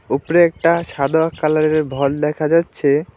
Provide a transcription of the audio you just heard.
উপরে একটা সাদা কালারের ভল দেখা যাচ্ছে।